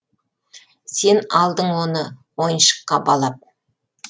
сен алдың оны ойыншыққа балап